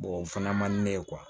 o fana man di ne ye